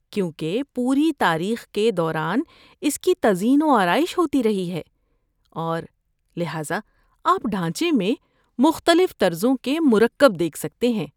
‏کیونکہ پوری تاریخ کے دوران اس کی تزئین و آرائش ہوتی رہی ہے ، اور لہذا ، آپ ڈھانچے میں مختلف طرزوں کے مرکب دیکھ سکتے ہیں